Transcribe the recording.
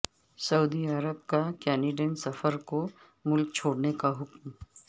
سعودی عرب کا کینیڈین سفیر کو ملک چھوڑنے کا حکم